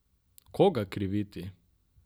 Koga kriviti?